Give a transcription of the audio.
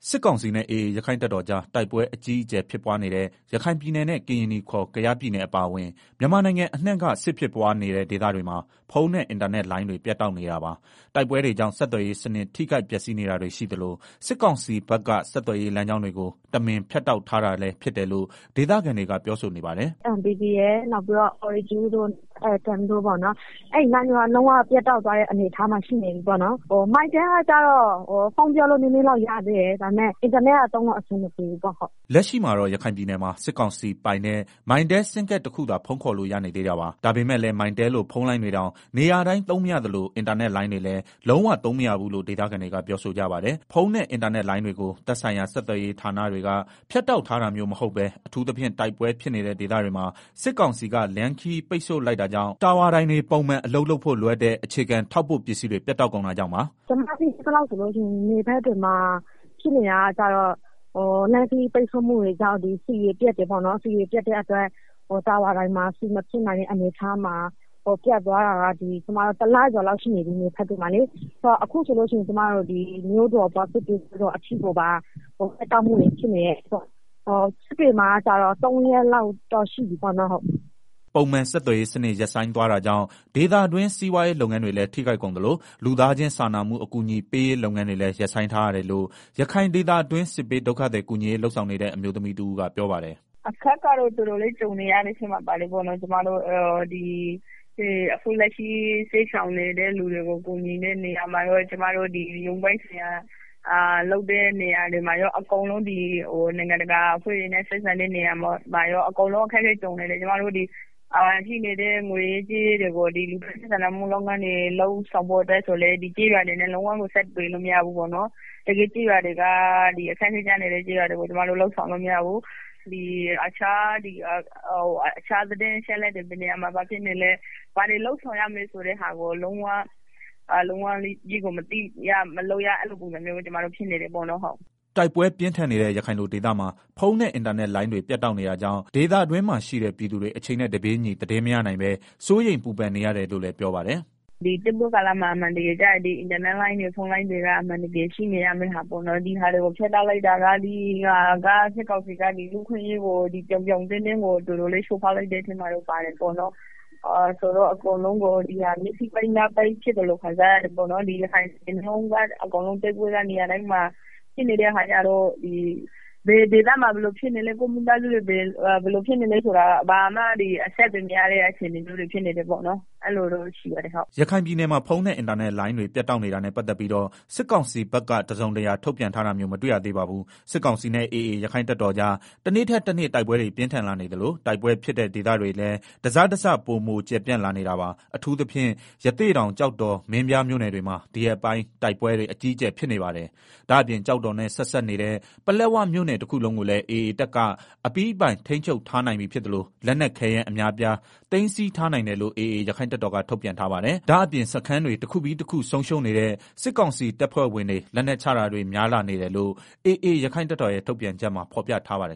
စစ်ကောင်စီနဲ့ AA ရက္ခိုင့်တပ်တော်ကြား တိုက်ပွဲအကြီးအကျယ်ဖြစ်ပွားနေတဲ့ ရခိုင်ပြည်နယ်နဲ့ ကရင်နီခေါ် ကယားပြည်နယ်အပါအဝင်၊ မြန်မာနိုင်ငံအနှံ့က စစ်ဖြစ်ပွားနေတဲ့ ဒေသတွေမှာ ဖုန်းနဲ့ အင်တာနက်လိုင်းတွေ ပြတ်တောက် နေတာပါ။ တိုက်ပွဲတွေကြောင့် ဆက်သွယ်ရေးစနစ် ထိခိုက်ပျက်စီးတာတွေရှိသလို စစ်ကောင်စီဘက်က ဆက်သွယ်ရေးလမ်းကြောင်းတွေကို တမင် ဖြတ်တောက်ထားတာလို့ ဒေသခံတွေက ပြောဆိုနေပါတယ်။ “ လက်ရှိ MPTရယ်၊ Ooredooရယ်၊ ATOM အဲဒီလိုင်းတွေက လုံးဝ ပြတ်တောက်သွားတဲ့ အနေအထားမှာရှိတယ်။ Mytel ကကျတော့ဖုန်းပြောလို့နည်းနည်းလောက်ရသေးတယ်၊ အင်တာနက်လိုင်းကတော့ လုံးဝသုံးလို့အဆင်မပြေဘူးဟုတ်။” လက်ရှိမှာတော့ ရခိုင်ပြည်နယ်မှာ စစ်ကောင်စီပိုင်တဲ့ Mytel ဆင်းကဒ်တခုသာဖုန်းခေါ်လို့ ရနေသေး တာပါ။ ဒါပေမဲ့လည်း Mytel လို ဖုန်းလိုင်းတွေတောင် နေရာတိုင်း သုံးမရသလို အင်တာနက်လိုင်းတွေလည်း လုံးဝသုံးမရဘူးလို့ဒေသခံတွေက ပြောဆိုကြပါတယ်။ ဖုန်းနဲ့ အင်တာနက်လိုင်းတွေကို သက်ဆိုင်ရာ ဆက်သွယ်ရေးဌာနတွေက ဖြတ်တောက်ထားတာမျိုးမဟုတ်ပဲ၊ အထူးသဖြင့် တိုက်ပွဲဖြစ်နေတဲ့ဒေသတွေမှာ စစ်ကောင်စီက လမ်းခရီးပိတ်ဆို့လိုက်တာကြောင့် တာဝါတိုင်တွေ ပုံမှန်အလုပ်လုပ်ဖို့ လိုအပ်တဲ့ အခြေခံ ထောက်ပို့ပစ္စည်းတွေ ပြတ်တောက် ကုန်တာကြောင့်ပါ။ “ ကျမသိသလောက်ဆိုရင်တော့ လမ်းခရီးပြတ်တောက်မှုတွေကြောင့် ဆီတွေပြတ်တယ်၊ တာဝါတိုင်တွေမှာ ဆီမဖြည့်နိုင်တဲ့အတွက် နယ်တွေမှာ ပြတ်သွားတာက တလကျော် လောက်ရှိနေပြီ၊ အခုဆိုလို့ရှိရင် မြို့တော် စစ်တွေအထိ ပြတ်တောက် တာတွေဖြစ်နေတယ်၊ စစ်တွေမှာကျတော့ သုံးရက်လောက်ရှိပြီပေါ့ဟုတ်။” ပုံမှန် ဆက်သွယ်ရေးစနစ် ရပ်ဆိုင်းသွားတာကြောင့် ဒေသတွင်း စီးပွားရေးလုပ်ငန်းတွေလည်း ထိခိုက်ကုန်သလို လူသားချင်းစာနာမှု အကူအညီပေးရေး လုပ်ငန်းတွေလည်း ရပ်ဆိုင်းထားရတယ်လို့ ရခိုင်ဒေသတွင်း စစ်ဘေး ဒုက္ခသည်ကူညီရေးလုပ်ဆောင်နေတဲ့ အမျိုးသမီးတဦးကပြောပါတယ်။ “ အခက်အခဲကြုံရတယ်၊ အခုလက်ရှိစစ်ရှောင်နေတဲ့ သူတွေကို ကူညီတဲ့နေရာမှာကော ကျမတို့ ရုံးပိုင်းဆိုင်ရာ လုပ်တဲ့ နေရာတွေမှာရော အကုန်လုံး၊ နိုင်ငံတကာအဖွဲ့တွေနဲ့ ဆက်ဆံတဲ့နေရာမှာရော၊ အကုန်လုံး အခက်အခဲကြုံနေတယ်။ ကျမတို့ဒီရှိနေတဲ့ ငွေရေးကြေးရေးတွေကို ဒီ လူသားချင်းစာနာမှု လုပ်ငန်းတွေလုပ်ဆောင်ဖို့ အတွက်လည်း ကျေးရွာတွေနဲ့ လုံးဝကိုဆက်သွယ်လို့မရဘူး၊ တကယ့် အခက်အခဲဖြစ်နေတဲ့ ကျေးရွာတွေကို ကျမတို့ လုပ်ဆောင်လို့မရဘူး၊ တခြားသတင်းအချက်အလက်တွေ၊ ဘယ်နေရာမှာ ဘာဖြစ်နေလဲ၊ ဘယ်တွေ လုပ်ဆောင်ရမလဲဆိုတာ မသိရ မလုပ်ရ အဲလိုတွေဖြစ်နေကြတယ်။” တိုက်ပွဲပြင်းထန်နေတဲ့ ရခိုင်လိုဒေသမှာ ဖုန်းနဲ့ အင်တာနက်လိုင်းတွေ ပြတ်တောက်နေတာကြောင့် ဒေသခံတွင်းမှာရှိတဲ့ ပြည်သူတွေ အချိန်နဲ့တပြေးညီ သတင်းမရနိုင်ပဲ စိုးရိမ်ပူပန်နေရတယ်လို့လည်း ပြောပါတယ်။ “ တိုက်ပွဲကာလမှာ အင်တာနက်လိုင်းတွေ ဖုန်းလိုင်းတွေက ရှိနေရမှာ ဒီဟာတွေကို ဖြတ်တောက်လိုက်တာ၊ စစ်ကောင်စီက လူ့အခွင့်အရေးကို ပြောင်ပြောင်းတင်းတင်း ချိုးဖောက်လိုက်တာဖြစ်တယ်၊ အကုန်လုံး မျက်စိပိတ် နားပိတ်ဖြစ်သလို ခံစားရတယ်၊ ရခိုင်တပြည်နယ်လုံး တိုက်ပွဲက နေရာတိုင်းမှာ ဖြစ်နေတဲ့ အခါကျတော့ ဘယ်ဒေသမှာ ဘယ်လိုဖြစ်နေလဲ ကိုယ့်မိသားစုတွေ ဘယ်လိုဖြစ်နေလဲဘာမှအဆက်အသွယ်မရတဲ့ အခြေအနေမျိုးတွေဖြစ်နေတယ်။” ရခိုင်ပြည်နယ်မှာ ဖုန်းနဲ့ အင်တာနက်လိုင်းတွေ ပြတ်တောက်နေတာနဲ့ ပတ်သတ်ပြီးတော့ စစ်ကောင်စီဘက်က တစုံတရာထုတ်ပြန်ထားတာမျိုးမတွေ့ရသေးပါဘူး။ စစ်ကောင်စီနဲ့ AAရက္ခိုင်တပ်တော်ကြား တနေ့ထက်တနေ့ တိုက်ပွဲတွေ ပြင်းထန်လာနေသလို တိုက်ပွဲဖြစ်တဲ့ ဒေသတွေလည်း တစတစ ပိုကျယ်ပြန့်လာနေတာပါ။ အထူးသဖြင့် ရသေ့တောင်၊ ကျောက်တော်နဲ့ မင်းပြားမြို့နယ်တွေမှာ ဒီရက်ပိုင်း တိုက်ပွဲတွေအကြီး အကျယ်ဖြစ်နေပါတယ်။ ဒါ့အပြင် ကျောက်တော်နဲ့ဆက်စပ်နေတဲ့ ပလက်ဝမြို့နယ် တခုလုံးကိုလည်း AA တပ်က အပြီးပိုင် ထိန်းချုပ်ထားနိုင်ပြီဖြစ်သလို လက်နက်ခဲယမ်း အများအပြားသိမ်းဆည်းထားနိုင်တယ်လို့ AA ရက္ခိုင့်တပ်တော်က ထုတ်ပြန်ထားပါတယ်။ ဒါ့အပြင် စခန်းတွေ တခုပြီးတခု ဆုံးရှုံးနေတဲ့ စစ်ကောင်စီတပ်ဖွဲ့ဝင်တွေ လက်နက်ချတာတွေ များလာနေတယ်လို့ AA ရက္ခိုင့်တပ်တော်ရဲ့ ထုတ်ပြန်ချက်မှာ ဖော်ပြထားပါတယ်